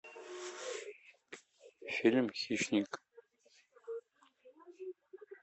фильм хищник